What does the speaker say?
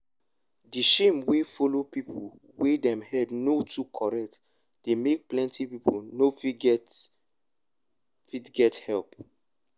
the shame wey follow people wey dem head no too correct dey make plenty people no fit get fit get help